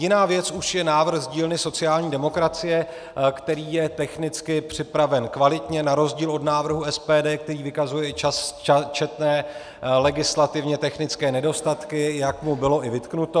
Jiná věc už je návrh z dílny sociální demokracie, který je technicky připraven kvalitně na rozdíl od návrhu SPD, který vykazuje i četné legislativně technické nedostatky, jak mu bylo i vytknuto.